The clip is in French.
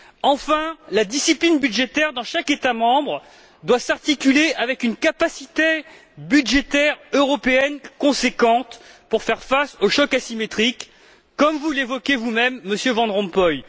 Enfin, la discipline budgétaire doit, dans chaque État membre, s'articuler avec une capacité budgétaire européenne conséquente pour faire face au choc asymétrique, comme vous l'évoquez vous même, Monsieur Van Rompuy.